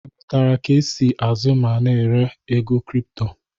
Ị mụtara ka e si ázụ́ ma na-ere ego kripto?